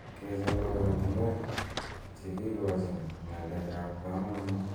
Keche'ng oratunwek cheikochin nga'lek ab kamanut KEC